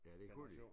Ja det kunne de